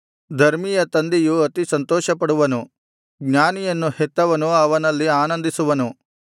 ಧರ್ಮಿಯ ತಂದೆಯು ಅತಿ ಸಂತೋಷಪಡುವನು ಜ್ಞಾನಿಯನ್ನು ಹೆತ್ತವನು ಅವನಲ್ಲಿ ಆನಂದಿಸುವನು